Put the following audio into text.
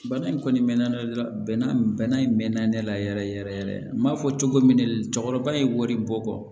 Bana in kɔni mɛn na ne la bɛnna ne la yɛrɛ yɛrɛ yɛrɛ n m'a fɔ cogo min de cɔ cɛkɔrɔba ye wari bɔ kɔ